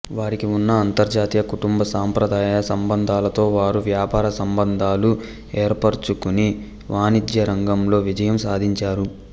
వారికి ఉన్న అంతర్జాతీయ కుటుంబ సంప్రదాయ సంబంధాలతో వారు వ్యాపార సంబంధాలు ఏర్పరచుకుని వాణిజ్యరంగంలో విజయం సాధించారు